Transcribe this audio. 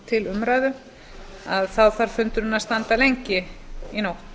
til umræðu þá þarf fundurinn að standa lengi í nótt